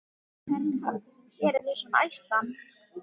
Það er kaffið sem gerir þig svona æstan.